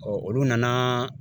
olu nana